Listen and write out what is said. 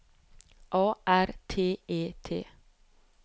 A R T E T